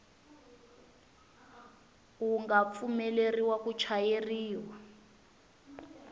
wu nga pfumeleriwa ku chayeriwa